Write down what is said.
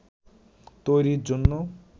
তৈরির জন্য